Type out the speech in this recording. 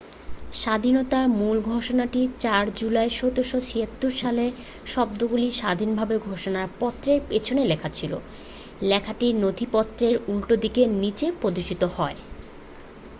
"""স্বাধীনতার মূল ঘোষণাটি 4 জুলাই 1776" যার শব্দগুলি স্বাধীনতার ঘোষণা পত্রের পেছনে লেখা ছিল। লেখাটি নথিপত্রের উল্টোদিকের নিচে প্রদর্শিত হয়।